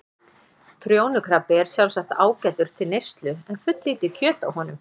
Trjónukrabbi er sjálfsagt ágætur til neyslu en fulllítið kjöt á honum.